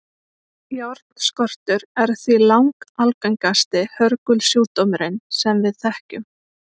járnskortur er því langalgengasti hörgulsjúkdómurinn sem við þekkjum